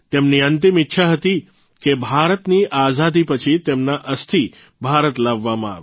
તેમની અંતિમ ઇચ્છા હતી કે ભારતની આઝાદી પછી તેમના અસ્થિ ભારત લાવવામાં આવે